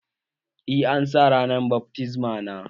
Eh, an sa ranar bat mitzbah na